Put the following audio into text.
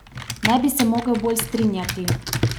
Ne bi se mogel bolj strinjati.